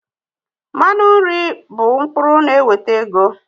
Mmanụ nri bụ mkpụrụ na-eweta ego